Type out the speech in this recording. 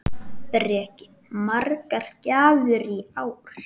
Breki: Margar gjafir í ár?